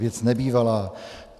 Věc nebývalá.